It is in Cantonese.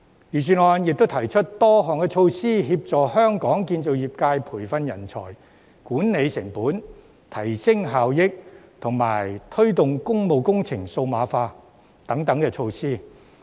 預算案亦提出多項措施，協助香港建造業界培訓人才、管理成本、提升效益，以及推動工務工程數碼化等。